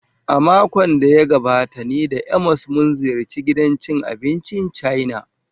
A makon da ya gabata ni da Amos mun ziyarci gidan cin abincin Chaina.